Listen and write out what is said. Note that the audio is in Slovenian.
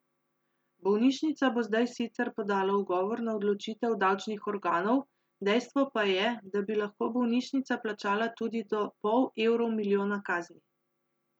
Bolnišnica bo zdaj sicer podala ugovor na odločitev davčnih organov, dejstvo pa je, da bi lahko bolnišnica plačala tudi do pol evrov milijona kazni.